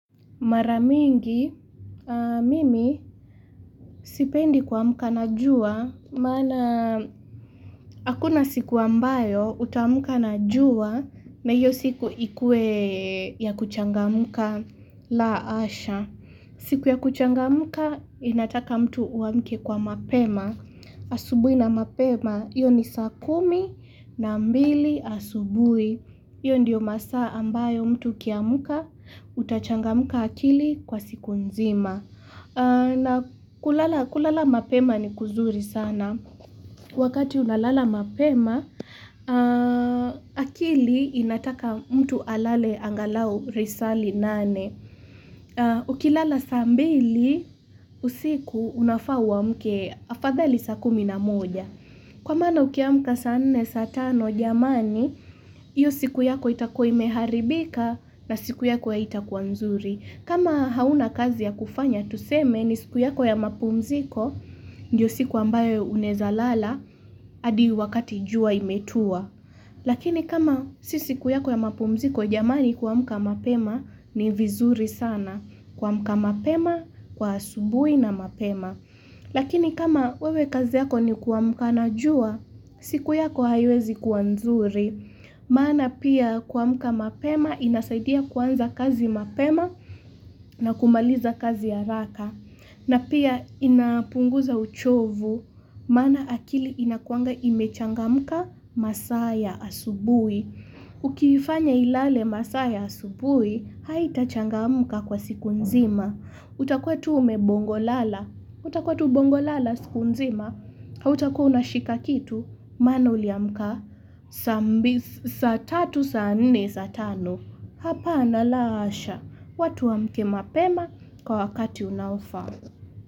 Mara mingi, mimi sipendi kuamka na jua, maana hakuna siku ambayo utaamka na jua na hiyo siku ikuwe ya kuchangamka la hasha. Siku ya kuchangamka inataka mtu uamke kwa mapema Asubuhi na mapema, hiyo ni saa kumi na mbili asubuhi hiyo ndiyo masaa ambayo mtu ukiamka, utachangamka akili kwa siku nzima na kulala mapema ni kuzuri sana Wakati unalala mapema, akili inataka mtu alale angalau risali nane Ukilala saa mbili usiku unafaa uamke afadhali saa kumi na moja Kwa maana ukiamka saa nne saa tano jamani hiyo siku yako itakuwa imeharibika na siku yako haitakuwa nzuri kama hauna kazi ya kufanya tuseme ni siku yako ya mapumziko Ndiyo siku ambayo unaeza lala hadi wakati jua imetua Lakini kama si siku yako ya mapumziko jamani kuamka mapema ni vizuri sana kuamka mapema, kwa asubuhi na mapema. Lakini kama wewe kazi yako ni kuamka na jua, siku yako haiwezi kuwa nzuri. Maana pia kuamka mapema inasaidia kuanza kazi mapema na kumaliza kazi haraka. Na pia inapunguza uchovu, maana akili inakuanga imechangamka masaa ya asubuhi. Ukifanya ilale masaa asubuhi, haitachangamka kwa siku nzima utakuwa tu ume bongo lala, utakuwa tu bongo lala siku nzima Hautakuwa unashika kitu, maana uliamka, saa tatu, saa nne, saa tano. Hapana la hasha, watu waamke mapema kwa wakati unaofaa.